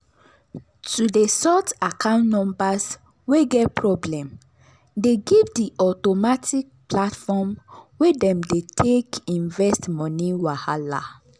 to dey sort account numbers wey get problem dey give the automatic platform wey dem dey take invest money wahala.